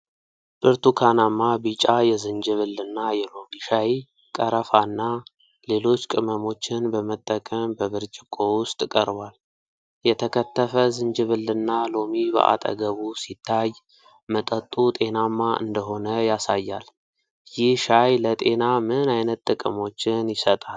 ብርቱካናማ ቢጫ የዝንጅብልና የሎሚ ሻይ ቀረፋና ሌሎች ቅመሞችን በመጠቀም በብርጭቆ ውስጥ ቀርቧል። የተከተፈ ዝንጅብልና ሎሚ በአጠገቡ ሲታይ፣ መጠጡ ጤናማ እንደሆነ ያሳያል። ይህ ሻይ ለጤና ምን አይነት ጥቅሞችን ይሰጣል?